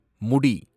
முடி